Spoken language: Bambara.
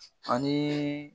An ye